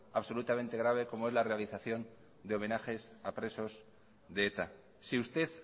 absolutamente grave como es la realización de homenajes a presos de eta si usted